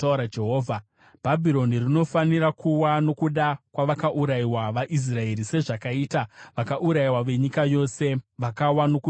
“Bhabhironi rinofanira kuwa nokuda kwavakaurayiwa vaIsraeri, sezvakaita vakaurayiwa venyika yose vakawa nokuda kweBhabhironi.